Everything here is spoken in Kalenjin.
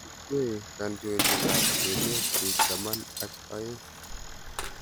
Kikwei kantointet ab emet biik taman ak oeng.